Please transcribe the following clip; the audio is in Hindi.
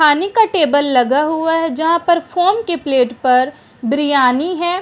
पानी का टेबल लगा हुआ है जहां पर फ़ोम के प्लेट पर बिरयानी है।